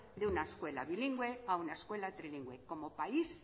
de una escuela bilingüe a una escuela trilingüe como país